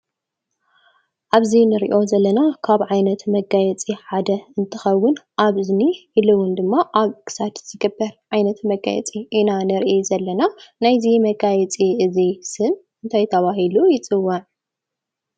ኣብዚ እንርእዮ ዘለና ካብ ዓይነት መጋይዝፂ ሓደ እንትኸዉን ኣብ እዝኒ ኢሉ እዉን ኣብ ክሳድ ዝግበር ዓይነት መጋየፂ ኢና ንርኢ ዘለና። ናይዚ መጋየፂ እዚ ስም ታይ ተባሂሉ ይጽዋዕ ?